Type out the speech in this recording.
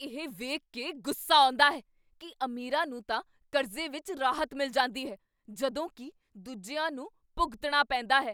ਇਹ ਵੇਖ ਕੇ ਗੁੱਸਾ ਆਉਂਦਾ ਹੈ ਕੀ ਅਮੀਰਾਂ ਨੂੰ ਤਾਂ ਕਰਜ਼ੇ ਵਿੱਚ ਰਾਹਤ ਮਿਲ ਜਾਂਦੀ ਹੈ ਜਦੋਂ ਕੀ ਦੂਜਿਆਂ ਨੂੰ ਭੁਗਤਣਾ ਪੈਂਦਾ ਹੈ।